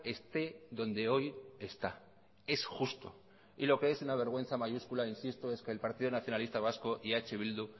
esté donde hoy está es justo y lo que es una vergüenza mayúscula insisto es que el partido nacionalista vasco y eh bildu